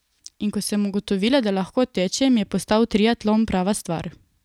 In ko sem ugotovila, da lahko tečem, je postal triatlon prava stvar.